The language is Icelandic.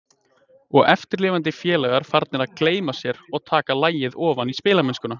Og eftirlifandi félagar farnir að gleyma sér og taka lagið ofan í spilamennskuna.